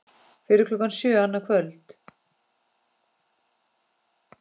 Fyrir klukkan sjö annað kvöld